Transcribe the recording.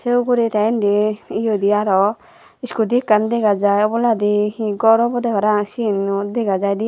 seh ugury teh indi eyodi aroh scooty ekkan dega jai oboladi he gor obo deh parapang dega jaidey i.